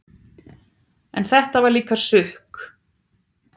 En þetta var líka sukk.